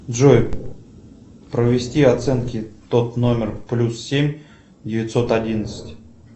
джой провести оценки тот номер плюс семь девятьсот одиннадцать